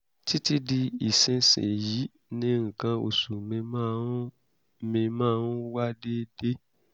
títí di ìsinsìnyí ni nǹkan oṣù mi máa ń mi máa ń wá déédé